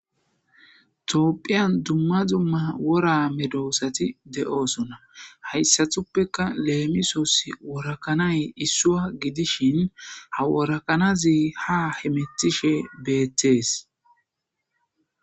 Toopphiyan dumma dumma wora medoosati de7oosona. Hayssathuppeka leemisoos; worakanay issua gidishin ha worakanazi ha hemetishe beettees.